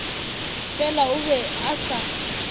fela o be a sa